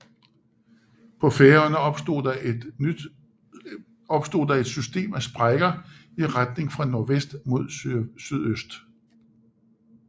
På Færøerne opstod der et system af sprækker i retning fra nordvest mod sydøst